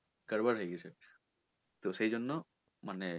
হয়ে গেছে তো সেই জন্য মানে